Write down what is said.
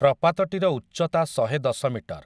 ପ୍ରପାତଟିର ଉଚ୍ଚତା ଶହେଦଶ ମିଟର ।